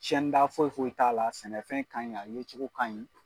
Cɛnni da foyi foyi t'a la sɛnɛfɛn kaɲi a yecogo kaɲi